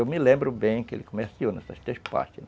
Eu me lembro bem que ele comerciou nessas três partes.